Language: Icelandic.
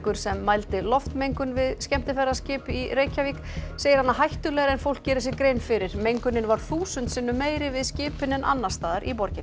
sem mældi loftmengun við skemmtiferðaskip í Reykjavík segir hana hættulegri en fólk geri sér grein fyrir mengunin var þúsund sinnum meiri við skipin en annars staðar í borginni